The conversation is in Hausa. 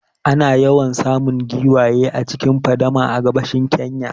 Ana yawan samun giwaye a cikin fadama a gabashin Kenya